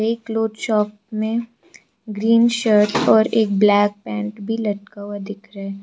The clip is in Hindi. ये क्लोथ शॉप में ग्रीन शर्ट और एक ब्लैक पेंट भी लटका हुआ दिख रहा --